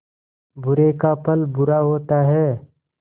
बुरे का फल बुरा होता है